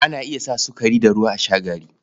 Ana iya sa sukari da ruwa a sha gari.